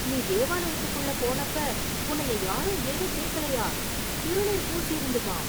நீ தேவாலயத்துக்குள்ள போனப்ப உன்னைய யாரும் ஏதும் கேக்கலையா? திருநீர் பூசிருந்துமா?